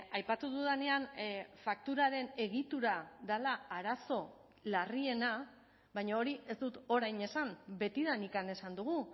aipatu dudanean fakturaren egitura dela arazo larriena baina hori ez dut orain esan betidanik esan dugu